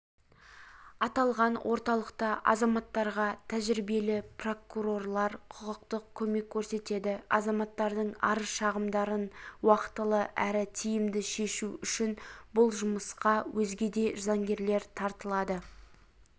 аталған орталықта азаматтарға тәжірибелі прокурорлар құқықтық көмек көрсетеді азаматтардың арыз-шағымдарын уақытылы әрі тиімді шешу үшін бұл жұмысқа өзге де заңгерлер тартылады